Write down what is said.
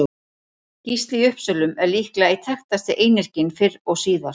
Gísli í Uppsölum er líklega einn þekktasti einyrkinn fyrr og síðar.